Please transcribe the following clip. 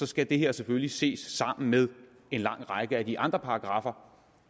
skal det her selvfølgelig ses sammen med en lang række af de andre paragraffer